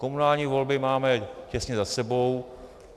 Komunální volby máme těsně za sebou.